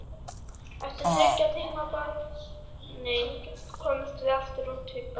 Eftir þriggja tíma barning komumst við aftur út í Baldur.